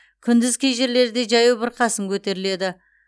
күндіз кей жерлерде жаяу бұрқасын көтеріледі